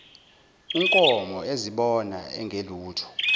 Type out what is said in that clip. unkomo ezibona engelutho